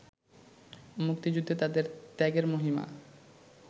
মুক্তিযুদ্ধে তাঁদের ত্যাগের মহিমা